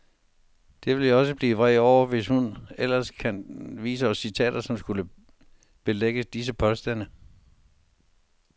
Det vil jeg også blive vred over, hvis hun ellers kan vise os citater, som skulle belægge disse påstande.